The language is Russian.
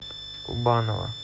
кубанова